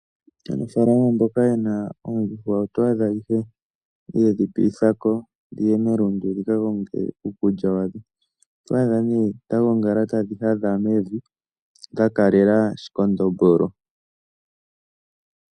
Aanafalama mboka ye na oondjuhwa oto adha ihe ye dhi piithako dhiye melundu dhika konge uukulya wadho. Oto adha nee dha gongala tadhi hadha mevi dha kalela shikondombolo.